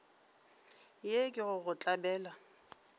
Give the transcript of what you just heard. ye ke go go tlabela